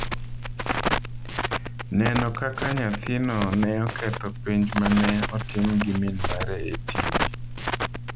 Neno kaka nyathino ne oketho penj ma ne otim gi min mare e TV